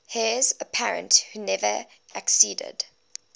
heirs apparent who never acceded